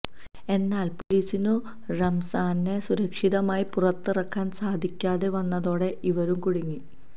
എന്നാല് പൊലിസിനു റംസാനെ സുരക്ഷിതമായി പുറത്തിറക്കാന് സാധിക്കാതെ വന്നതോടെ ഇവരും കുടുങ്ങി